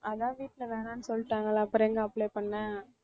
அதான் வீட்ல வேணாம்னு சொல்லிட்டாங்கல்ல அப்புறம் எங்க apply பண்ண